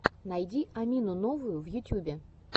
найди амину новую в ютубе